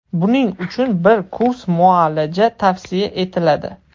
Buning uchun bir kurs muolaja tavsiya etiladi.